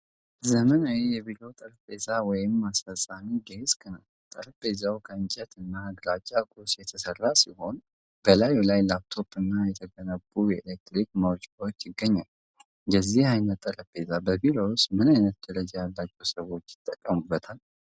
ዘመናዊ የቢሮ ጠረጴዛ ወይም አስፈጻሚ ዴስክ ነው። ጠረጴዛው ከእንጨት እና ግራጫማ ቁስ የተሰራ ሲሆን በላዩ ላይ ላፕቶፕ እና የተገነቡ የኤሌክትሪክ መውጫዎች ይገኛሉ። የዚህ አይነት ጠረጴዛ በቢሮ ውስጥ ምን አይነት ደረጃ ያላቸው ሰዎች ይጠቀሙበታል?